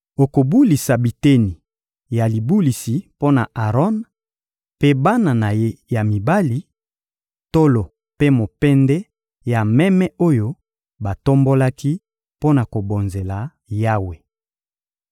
Okobulisa biteni ya libulisi mpo na Aron mpe bana na ye ya mibali: tolo mpe mopende ya meme oyo batombolaki mpo na kobonzela Yawe.